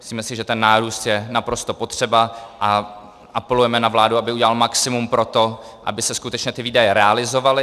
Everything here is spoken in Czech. Myslíme si, že ten nárůst je naprosto potřeba, a apelujeme na vládu, aby udělala maximum pro to, aby se skutečně ty výdaje realizovaly.